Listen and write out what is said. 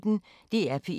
DR P1